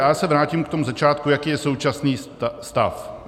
Já se vrátím k tomu začátku, jaký je současný stav.